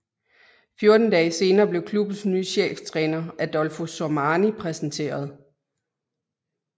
Fjorten dage senere blev klubbens nye cheftræner Adolfo Sormani præsenteret